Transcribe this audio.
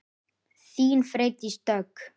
Þín, Freydís Dögg.